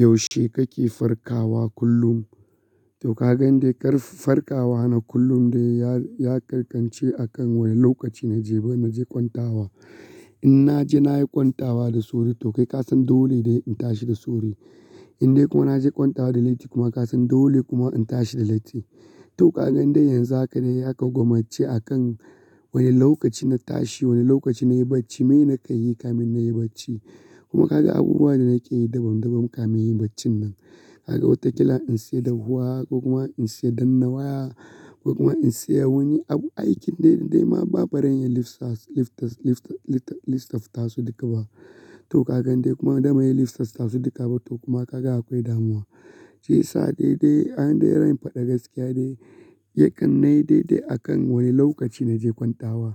Yaushe kake farkawa kullum? To kaga yan da ya kar farkawa na kullum dai ya, ya ƙarkance a kan wane lokaci na je, na je kwanta wa. In na je na yi kwanta wa da sori to kai kasan dole dai in tashi da sori in dai kuma na je kwanta wa da laiti kuma kasan dole kuma in tashi da laiti. To kagan dai yanzu haka dai zaka gwammace a kan wane lokaci na tashi, wane lokaci na yi bacci. Mene ka yi kamin na yi bacci? Kuma kaga abubuwan da nake yi dabam dabam kamin yi baccin nan. Kaga wataƙila in siya dahuwa ko kuma in siya dannawa ko kuma in siya wani abu. Aikin dai dai ma ba barin yayi lifsas, lifstas, lifta, liftaftasu duka ba. To kagan dai kuma dama yayi liftaftasu duka ba. To kuma kaga akwai damuwa. Shi yi sa dai dai an dai ran faɗi gaskiya dai yakan na yi dai dai akan wane lokaci na je kwanta wa.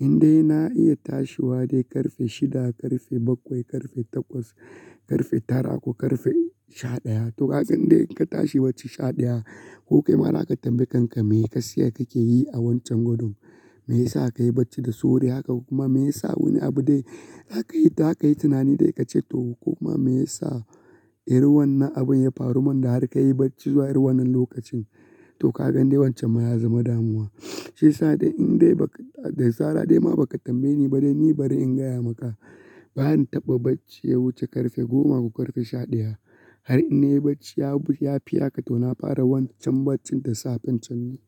In dai na iya tashiwa dai ƙarfe shida, ƙarfe bakwai, ƙarfe takwas, ƙarfe tara ko ƙarfe sha ɗaya. To kaga in dai ka tashi bacci sha ɗaya, ku kai ma naka tambaye kanka mene ka siya kake yi a wancan godun. Meyasa ka yi bacci da sori haka kuma meyasa wani abu dai aka yi, da aka yi tunani dai ka ce to. Ko kuma meyasa irin wannan abun ya faru mun da har ka yi bacci zuwa irin wannan lokacin. To kagan dai wancan ma ya zama damuwa. Shi yi sa dai in dai ba ka, da sara dai ma ba ka tambaye ni ba dai ni bari in gaya maka. Ba han taɓa bacci ya wuce ƙarfe goma ko ƙarfe sha ɗaya. Har in na yi bacci ya fi haka tona fara wancan baccin da safan can.